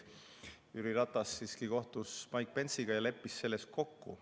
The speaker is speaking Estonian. Jüri Ratas siiski kohtus Mike Pence'iga ja leppis selles kokku.